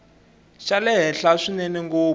xa le henhla swinene ngopfu